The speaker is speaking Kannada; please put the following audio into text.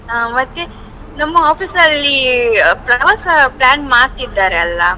ಹಾ ಮತ್ತೆ, ನಮ್ಮ office ಅಲ್ಲಿ ಪ್ರವಾಸ plan ಮಾಡ್ತಿದ್ದಾರೆ ಅಲ್ಲಾ?